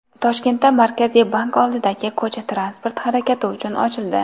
Toshkentda Markaziy bank oldidagi ko‘cha transport harakati uchun ochildi.